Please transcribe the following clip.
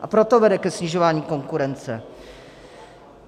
A proto vede ke snižování konkurence.